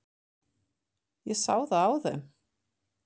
Ég sá það á þeim.